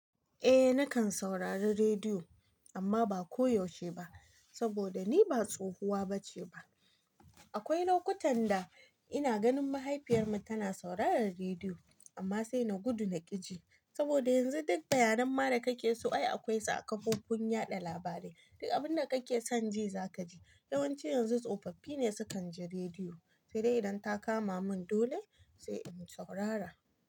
Eh nakan saurari rediyo amma ba koyaushe ba saboda ni ba tsohuwa bace ba. Akwai lokutan da ina ganin mahaifiyar mu tana sauraron rediyo amma sai na gudu na ƙi ji saboda yanzu duk bayanan dakake so ai akwai su kafofin yaɗa labarai. Duk abinda kake son ji zaka ji. Yawanci yanzu tsofaffi ne sukanji rediyo sai dai idan ta kama mun dole sai in saurara.